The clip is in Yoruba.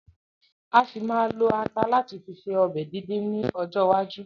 A ṣì ma ma lo ata láti fi ṣe ọbẹ̀ díndín ni ọjọ́ iwájú